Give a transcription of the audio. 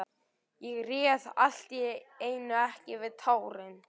Ég réð allt í einu ekki við tárin.